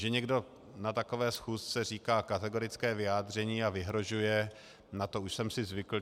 Že někdo na takové schůzce říká kategorické vyjádření a vyhrožuje, na to už jsem si zvykl.